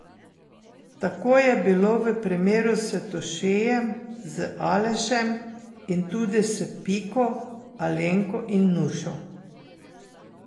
Tako je bilo v primeru s Tošejem, z Alešem in tudi s Piko, Alenko in Nušo.